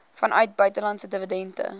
vanuit buitelandse dividende